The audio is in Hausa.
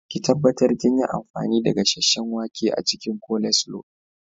Ki tabbatar kinyi amfanin da gasheshshen wake a cikin coleslaw.